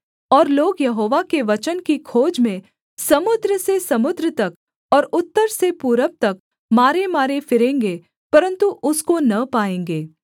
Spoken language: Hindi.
और लोग यहोवा के वचन की खोज में समुद्र से समुद्र तक और उत्तर से पूरब तक मारेमारे फिरेंगे परन्तु उसको न पाएँगे